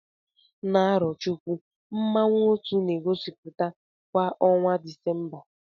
Na Arochukwu, mmanwụ otu na-egosiputa kwa ọnwa Disemba.